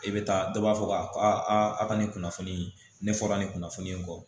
I bɛ taa dɔ b'a fɔ k'a ka nin kunnafoni ne fɔra a nin kunnafoni in kɔ